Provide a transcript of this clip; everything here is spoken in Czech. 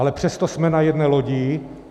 Ale přesto jsme na jedné lodi.